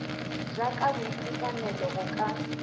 ja ka boitekanelo go ka